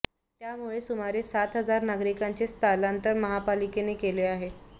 त्यामुळे सुमारे सात हजार नागरिकांचे स्थलांतर महापालिकेने केले आहे